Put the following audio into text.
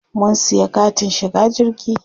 Mun siya katin shiga jirgi.